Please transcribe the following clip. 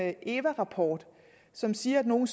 en eva rapport som siger at nogle